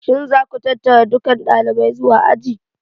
Shin za ku tattara dukan ɗalibai zuwa aji?